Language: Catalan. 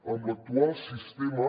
amb l’actual sistema